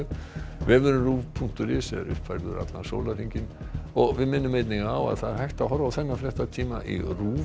vefurinn punktur is er uppfærður allan sólarhringinn við minnum einnig á að það er hægt að horfa á þennan fréttatíma í RÚV